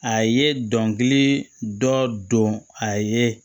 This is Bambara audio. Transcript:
A ye dɔnkili dɔ a ye